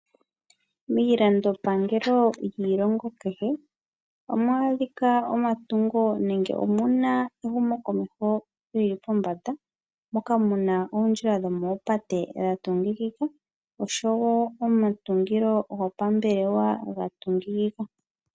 Miilandopangelo yiilongo kehe, amwaadhika omatungo nenge omuna ehumokomeho lyili pombanda, moka muna oondjila dhomoopate dhatungikika, oshowo omatungilo gopambelewa ga tungikika.